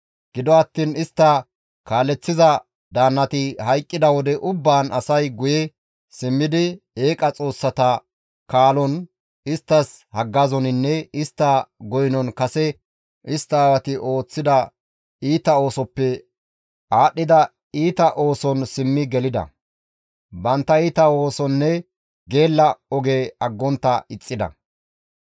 Gido attiin istta kaaleththiza daannati hayqqida wode ubbaan asay guye simmidi, eeqa xoossata kaalon, isttas haggazoninne istta goynon kase istta aawati ooththida iita oosoppe aadhdhida iita ooson simmi gelida; bantta iita oosonne geella oge aggontta ixxida.